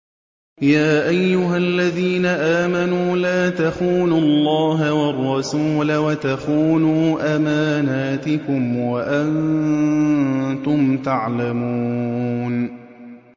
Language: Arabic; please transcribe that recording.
يَا أَيُّهَا الَّذِينَ آمَنُوا لَا تَخُونُوا اللَّهَ وَالرَّسُولَ وَتَخُونُوا أَمَانَاتِكُمْ وَأَنتُمْ تَعْلَمُونَ